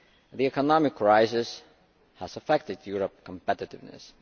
The economic crisis has affected Europe's competitiveness.